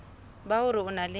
ba hore o na le